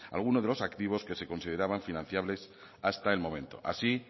de los activos que se consideraban financiables hasta el momento así